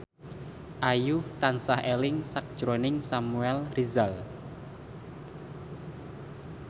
Ayu tansah eling sakjroning Samuel Rizal